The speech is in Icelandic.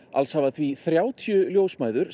alls hafa því þrjátíu ljósmæður